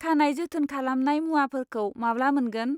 खानाय जोथोन खालामनाय मुवाफोरखौ माब्ला मोनगोन?